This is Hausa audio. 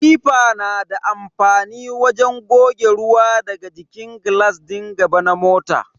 Wifa na da amfani wajen goge ruwa daga jikin glass din gaba na mota.